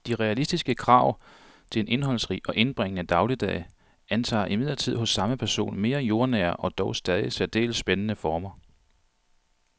De realistiske krav til en indholdsrig og indbringende dagligdag antager imidlertid hos samme person mere jordnære og dog stadig særdeles spændende former.